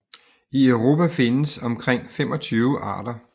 I Europa findes omkring 25 arter